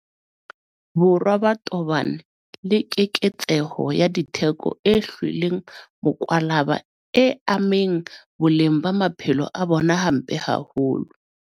Borwa ba tobane le keketseho ya ditheko e hlweleng mokwalaba e ameng boleng ba maphelo a bona hampe haholo.